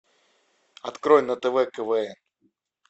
открой на тв квн